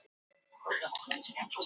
auk þess geta ofskynjanir átt sér stað